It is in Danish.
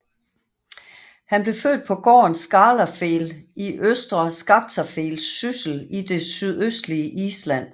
Han blev født på gården Skálafell i Øster Skaptafells Syssel i det sydøstlige Island